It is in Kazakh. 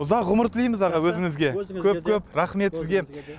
ұзақ ғұмыр тілейміз аға өзіңізге көп көп рахмет сізге